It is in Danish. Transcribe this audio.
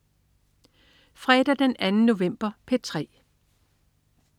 Fredag den 2. november - P3: